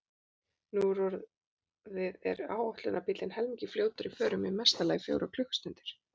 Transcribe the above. Nú orðið er áætlunarbíllinn helmingi fljótari í förum, í mesta lagi fjórar klukkustundir.